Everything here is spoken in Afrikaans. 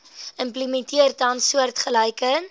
implementeer tans soortgelyke